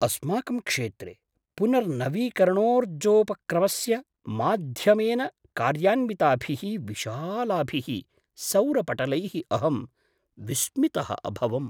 अस्माकं क्षेत्रे पुनर्नवीकरणोर्जोपक्रमस्य माध्यमेन कार्यान्विताभिः विशालाभिः सौरपटलैः अहं विस्मितः अभवम्।